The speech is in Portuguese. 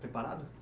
Preparado?